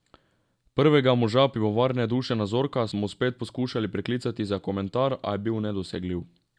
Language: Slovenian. Prvega moža pivovarne Dušana Zorka smo spet poskušali priklicati za komentar, a je bil nedosegljiv.